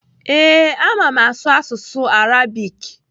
Ee, ama m asụ asụsụ Arabik.